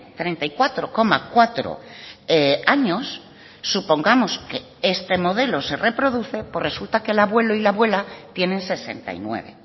treinta y cuatro coma cuatro años supongamos que este modelo se reproduce pues resulta que el abuelo y la abuela tienen sesenta y nueve